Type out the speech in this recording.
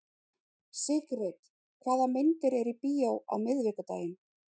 Sigrid, hvaða myndir eru í bíó á miðvikudaginn?